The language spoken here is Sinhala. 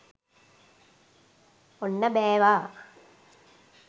ඔන්න බෑවා!